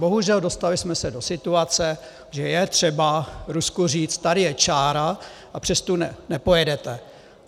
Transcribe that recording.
Bohužel dostali jsme se do situace, že je třeba Rusku říct: tady je čára a přes tu nepojedete.